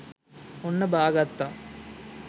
ඔන්න බා ගත්තා